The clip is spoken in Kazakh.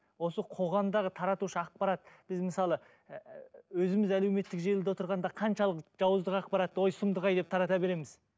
осы қоғамдағы таратушы ақпарат біз мысалы ііі өзіміз әлеуметтік желіде отырғанда қаншалықты жауыздық ақпаратты ой сұмдық ай деп тарата береміз